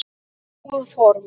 Góð fórn.